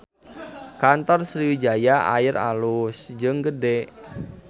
Kantor Sriwijaya Air alus jeung gede